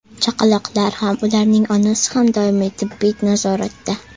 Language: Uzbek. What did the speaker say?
Chaqaloqlar ham, ularning onasi ham doimiy tibbiy nazoratda.